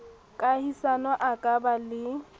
kahisano a ka ba le